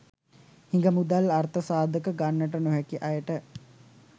හිඟ මුදල් අර්ථ සාධක ගන්නට නොහැකි අයට